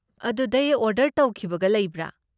ꯑꯗꯨꯗꯩ ꯑꯣꯔꯗꯔ ꯇꯧꯈꯤꯕꯒ ꯂꯩꯕ꯭ꯔꯥ?